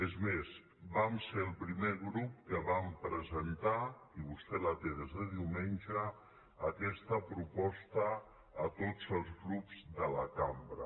és més vam ser el primer grup que vam presentar i vostè la té des de diumenge aquesta pro·posta a tots els grups de la cambra